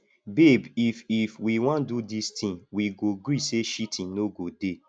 babe if if we wan do this thing we go gree say cheating no go dey